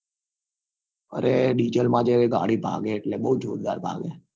અરે diesel માં જે એ ગાળી ભાગે એટલે બઉ જોરદાર ભાગે